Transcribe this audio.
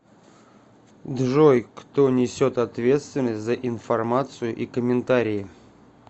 джой кто несет ответственность за информацию и комментарии